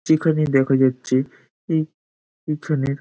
চিকনে দেখা যাচ্ছে। এই --